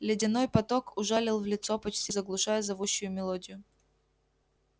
ледяной поток ужалил в лицо почти заглушая зовущую мелодию